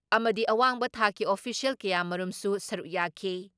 ꯑꯃꯗꯤ ꯑꯋꯥꯡꯕ ꯊꯥꯛꯀꯤ ꯑꯣꯐꯤꯁꯤꯌꯦꯜ ꯀꯌꯥꯃꯔꯨꯝꯁꯨ ꯁꯔꯨꯛ ꯌꯥꯈꯤ ꯫